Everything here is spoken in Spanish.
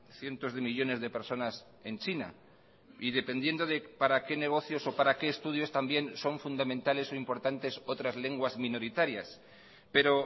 cientos de millónes de personas en china y dependiendo para qué negocios o para qué estudios también son fundamentales o importantes otras lenguas minoritarias pero